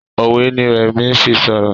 òwe ní Remi fí sọrọ.